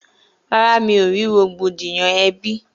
Rárá, mi ò rí rògbòdìyàn ẹbí